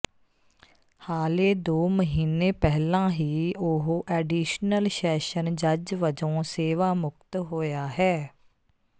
ਹਾਲੇ ਦੋ ਮਹੀਨੇ ਪਹਿਲਾਂ ਹੀ ਉਹ ਐਡੀਸ਼ਨਲ ਸ਼ੈਸ਼ਨ ਜੱਜ ਵਜੋਂ ਸੇਵਾ ਮੁਕਤ ਹੋਇਆ ਹੈ